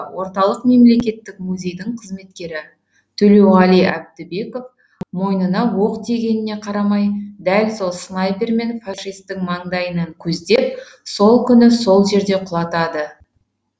орталық мемлекеттік музейдің қызметкері төлеуғали әбдібеков мойнына оқ тигеніне қарамай дәл сол снайпермен фашистің маңдайынан көздеп сол күні сол жерде құлатады